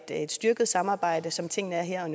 et styrket samarbejde som tingene er her